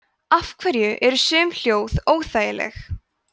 af hverju eru sum hljóð óþægileg